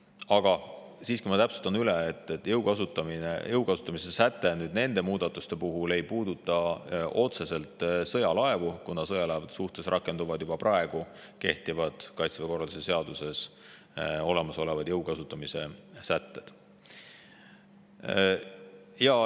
Aga ma siiski täpsustan üle, et jõu kasutamise sätte muudatused ei puuduta otseselt sõjalaevu, sest sõjalaevade suhtes rakenduvad Kaitseväe korralduse seaduse järgi juba praegu kehtivad jõu kasutamise sätted.